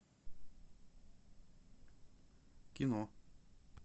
кино